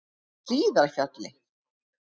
Hlíðarfjalli